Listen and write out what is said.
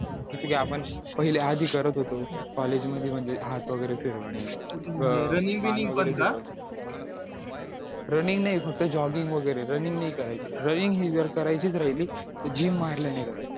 जसं की आपण पहिलं आधी करत होतो college मध्ये म्हणजे हात वगैरे फिरून running नाही फक्त joging वगैरे running नाही करायची running ही जर करायचीच राहिली तर gym मारल्याने कराय ची